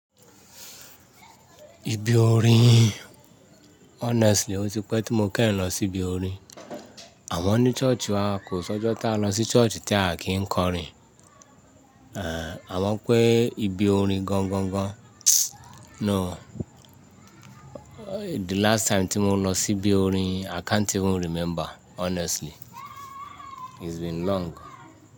Ibi orin honestly ó ti pẹ́ tí mo kẹ́rì lọ sí ibi orin. Àwọn ní church wa kò sọ́jọ́ tí a lọ sí church tí a kì ń kọrin. À wọn pé ibi orin gangan gan. No. The last time tí mo lọ sí ibi orin i can't even remember honestly. It's been long.